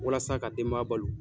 Walasa ka denbaya balo.